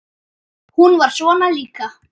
Hún var svona líka.